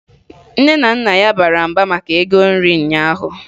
Nne na Nna ya bara mba maka ego nri ụnyaahụ